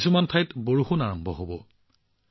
কিছুমান ঠাইত হয়তো বৰষুণ আৰম্ভ হব